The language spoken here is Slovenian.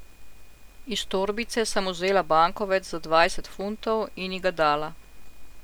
Iz torbice sem vzela bankovec za dvajset funtov in ji ga dala.